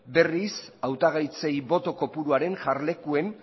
berriz hautagaitzei boto kopuruaren jarlekuen